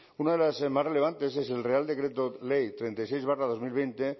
una de las más relevantes es el real decreto ley treinta y seis barra dos mil veinte